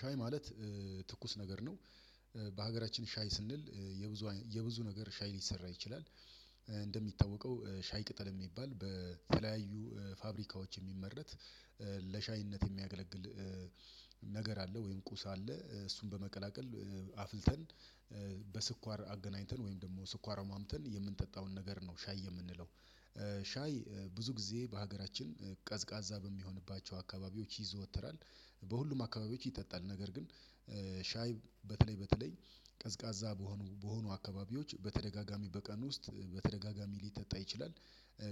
ሻይ ማለት ትኩስ ነገር ነው። በሀገራችን ሻይ ስንል የብዙ የብዙ ነገር ሻይ ሊሰራ ይችላል። እንደሚታወቀው ሻይ ቅጠል የሚባል በተለያዩ ፋብሪካዎች የሚመረት ለሻይነት የሚያገለግል ነገር አለ። ወይም ቁስ አለ። እሱን በመቀላቀል አፍልተን በስኳር አገናኝተን ወይም ደግሞ ስኳር አሟምተን የምንጠጣውን ነገር ነው ሻይ የምንለው ሻይ ብዙ ጊዜ በሀገራችን ቀዝቃዛ በሚሆንባቸው አካባቢዎች ይዘወትራል። በሁሉም አካባቢዎች ይጠጣል ነገር ግን ሻይ በተለይ በተለይ ቀዝቃዛ በሆኑ በሆኑ አካባቢዎች በተደጋጋሚ በቀን ውስጥ በተደጋጋሚ ሊጠጣ ይችላል።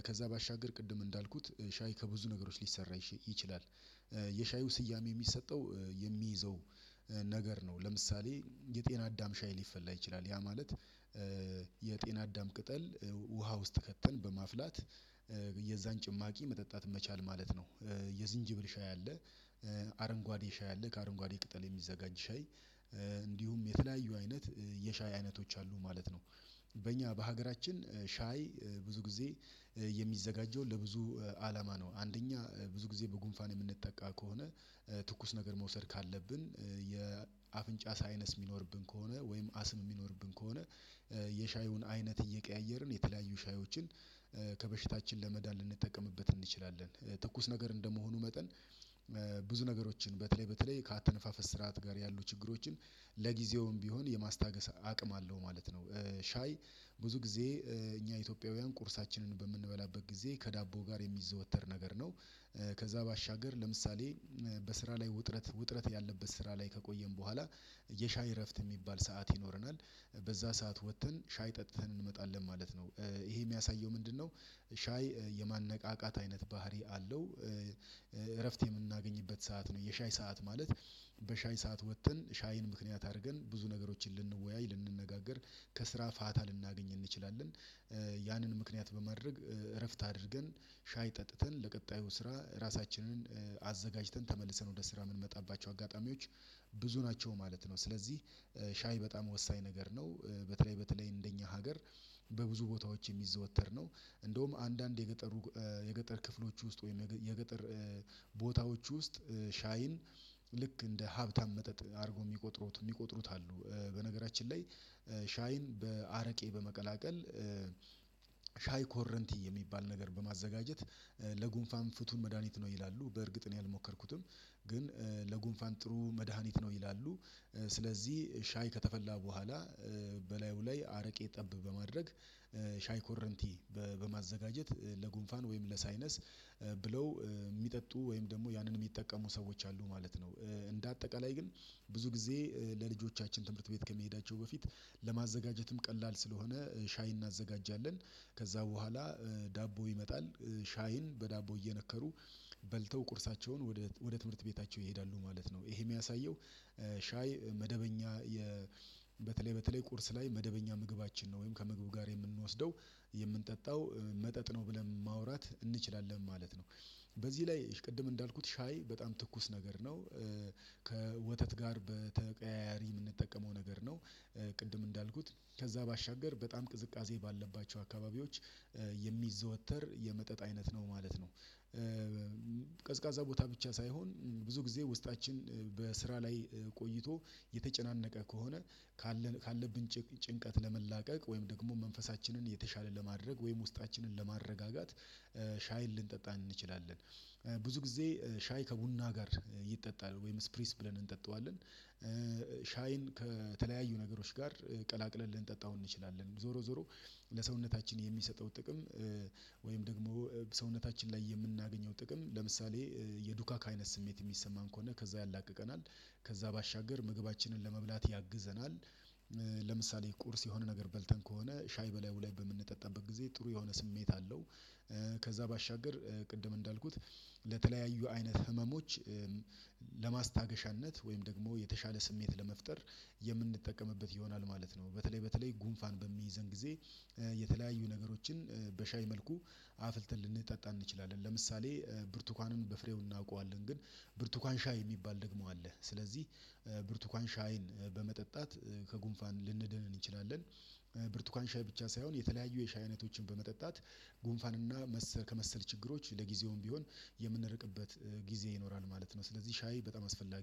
ከዛ ባሻገር ቅድም እንዳልኩት ሻይ ከብዙ ነገሮች ሊሰራ ይችላል። የሻዩ ስያሜ የሚሰጠው የሚይዘው ነገር ነው። ለምሳሌ የጤና አዳም ሻይ ሊፈላ ይችላል ያ ማለት የጤና አዳም ቅጠል ውሃ ውስጥ ከተን በማፍላት የዛን ጭማቂ መጠጣት መቻል ማለት ነው። የዚንጅብል ሻይ አለ። አረንጓዴ ሻይ አለ ከአረንጓዴ ቅጠል የሚዘጋጅ ሻይ እንዲሁም የተለያዩ አይነት የሻይ አይነቶች አሉ ማለት ነው። በእኛ በሀገራችን ሻይ ብዙ ጊዜ የሚዘጋጀው ለብዙ አላማ ነው። አንደኛ ብዙ ጊዜ በጉንፋን የምንጠቃ ከሆነ ትኩስ ነገር መውሰድ ካለብን የአፍንጫ ሳይነስ የሚኖርብን ከሆነ ወይም አስም የሚኖርብን ከሆነ የሻዩን አይነት እየቀያየርን የተለያዩ ሻዮችን ከበሽታችን ለመዳን ልንጠቀምበት እንችላለን። ትኩስ ነገር እንደመሆኑ መጠን ብዙ ነገሮችን በተለይ በተለይ ከአተነፋፈስ ስርዓት ጋር ያሉ ችግሮችን ለጊዜውም ቢሆን የማስታገስ አቅም አለው ማለት ነው። ሻይ ብዙ ጊዜ እኛ ኢትዮጵያውያን ቁርሳችንን በምንበላበት ጊዜ ከዳቦ ጋር የሚዘወተር ነገር ነው። ከዛ ባሻገር ለምሳሌ በስራ ላይ ውጥረት ውጥረት ያለበት ስራ ላይ ከቆየን በኋላ የሻይ እረፍት የሚባል ሰዓት ይኖረናል። በዛ ሰዓት ወጥተን ሻይ ጠጥተን እንመጣለን ማለት ነው። ይሄ የሚያሳየው ምንድነው? ሻይ የማነቃቃት አይነት ባህሪ አለው። እረፍት የምናገኝበት ሰዓት ነው የሻይ ሰዓት ማለት በሻይ ሰዓት ወጥተን ሻይን ምክንያት አድርገን ብዙ ነገሮችን ልንወያይ ልንነጋገር ከስራ ፋታ ልናገኝ እንችላለን። ያንን ምክንያት በማድረግ እረፍት አድርገን ሻይ ጠጥተን ለቀጣዩ ስራ ራሳችንን አዘጋጅተን ተመልሰን ወደ ስራ የምንመጣባቸው አጋጣሚዎች ብዙ ናቸው ማለት ነው። ስለዚህ ሻይ በጣም ወሳኝ ነገር ነው። በተለይ በተለይ እንደኛ ሀገር በብዙ ቦታዎች የሚዘወተር ነው። እንደውም አንዳንድ የገጠሩ የገጠር ክፍሎች ውስጥ ወይም የገጠር ቦታዎች ውስጥ ሻይን ልክ እንደ ሀብታም መጠጥ አድርጎ የሚቆጥሩት የሚቆጥሩት አሉ። በነገራችን ላይ ሻይን በአረቄ በመቀላቀል ሻይ ኮረንቲ የሚባል ነገር በማዘጋጀት ለጉንፋን ፍቱን መድሃኒት ነው ይላሉ በእርግጥ ነው አልሞከርኩትም። ግን ለጉንፋን ጥሩ መድሃኒት ነው ይላሉ። ስለዚህ ሻይ ከተፈላ በኋላ በላዩ ላይ አረቄ ጠብ በማድረግ ሻይ ኮረንቲ በማዘጋጀት ለጉንፋን ወይም ለሳይነስ ብለው የሚጠጡ ወይም ደግሞ ያንን የሚጠቀሙ ሰዎች አሉ ማለት ነው። እንደ አጠቃላይ ግን ብዙ ጊዜ ለልጆቻችን ትምህርት ቤት ከመሄዳቸው በፊት ለማዘጋጀትም ቀላል ስለሆነ ሻይ እናዘጋጃለን። ከዛ በኋላ ዳቦ ይመጣል ሻይን በዳቦ እየነከሩ በልተው ቁርሳቸውን ወደ ትምህርት ቤታቸው ይሄዳሉ ማለት ነው። ይሄ የሚያሳየው ሻይ መደበኛ በተለይ ቁርስ ላይ መደበኛ ምግባችን ነው ወይም ከምግቡ ጋር የምንወስደው የምንጠጣው መጠጥ ነው ብለን ማውራት እንችላለን ማለት ነው። በዚህ ላይ ቅድም እንዳልኩት ሻይ በጣም ትኩስ ነገር ነው። ከወተት ጋር በተቀያያሪ የምንጠቀመው ነገር ነው። ቅድም እንዳልኩት ከዛ ባሻገር በጣም ቅዝቃዜ ባልባቸው አካባቢዎች የሚዘወተር የመጠጥ አይነት ነው ማለት ነው። ቀዝቃዛ ቦታ ብቻ ሳይሆን ብዙ ጊዜ ውስጣችን በስራ ላይ ቆይቶ የተጨናነቀ ከሆነ ጭንቀት ለመላቀቅ ወይም ደግሞ መንፈሳችንን የተሻለ ለማድረግ ወይም ውስጣችንን ለማረጋጋት ሻይን ልንጠጣ እንችላለን። ብዙ ጊዜ ሻይ ከቡና ጋር ይጠጣል ወይም ስፕሪስ ብለን እንጠጣዋለን። ሻይን ከተለያዩ ነገሮች ጋር ቀላቅለን ልንጠጣው እንችላለን ዞሮ ዞሮ ለሰውነታችን የሚሰጠው ጥቅም ወይም ደግሞ ሰውነታችን ላይ የምናገኘው ጥቅም ለምሳሌ የዱካክ አይነት ስሜት የሚሰማን ከሆነ ከዛ ያላቅቀናል ከዛ ባሻገር ምግባችንን ለመብላት ያግዘናል። ለምሳሌ ቁርስ የሆነ ነገር በልተን ከሆነ ሻይ በላዩ ላይ በምንጠጣበት ጊዜ ጥሩ የሆነ ስሜት አለው። ከዛ ባሻገር ቅድም እንዳልኩት ለተለያዩ አይነት ህመሞች ለማስታገሻነት ወይም ደግሞ የተሻለ ስሜት ለመፍጠር የምንጠቀምበት ይሆናል ማለት ነው። በተለይ በተለይ ጉንፋን በሚይዘን ጊዜ የተለያዩ ነገሮችን በሻይ መልኩ አፍልተን ልንጠጣ እንችላለን ለምሳሌ ብርቱካንን በፍሬው እናውቀዋለን ግን ብርቱካን ሻይ የሚባል ደግሞ አለ ስለዚህ ብርቱካን ሻይን በመጠጣት ከጉንፋን ልንድን እንችላለን። ብርቱካን ሻይ ብቻ ሳይሆን የተለያዩ የሻይ አይነቶችን በመጠጣት ጉንፋን እና ከመሰል ችግሮች ለጊዜውም ቢሆን የምንርቅበት ጊዜ ይኖራል ማለት ነው። ስለዚህ ሻይ በጣም አስፈላጊ